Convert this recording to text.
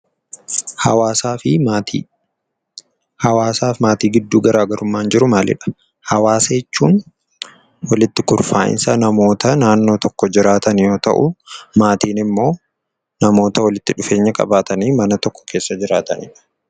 Hawaasa jechuun walitti gurmaa'insa namoota naannoo tokko jiraatan yoo ta'u, maatii immoo namoota walitti dhufeenya qabatanii mana tokko keessa waliin jiraatanidha.